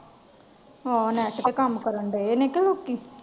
ਹਾਂ net ਤੇ ਕੰਮ ਕਾਰਨ ਡਾਏ ਨੇ ਕੇ ਲੋਕੀ।